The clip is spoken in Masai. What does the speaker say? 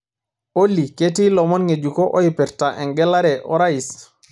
olly ketii ilomon ng'ejuko oipirta engelare orais